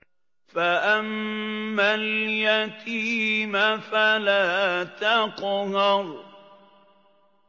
فَأَمَّا الْيَتِيمَ فَلَا تَقْهَرْ